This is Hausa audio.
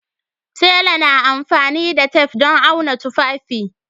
Tela amfani da tef don auna tufafi